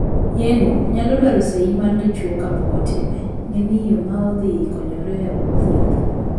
Yeng'o nyalo dwaro seyi mar dichwo kapok otime ne miyo ma odhi konyore od thieth.